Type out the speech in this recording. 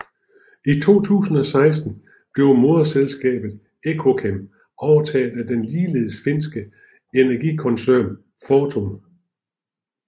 I 2016 blev moderselskabet Ekokem overtaget af den ligeledes finske energikoncern Fortum